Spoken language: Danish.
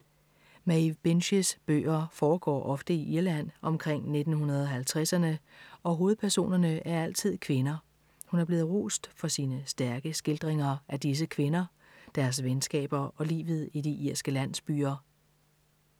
Maeve Binchys bøger foregår ofte i Irland omkring 1950'erne og hovedpersonerne er altid kvinder. Hun er blevet rost for sine stærke skildringer af disse kvinder, deres venskaber og livet i de irske landsbyer.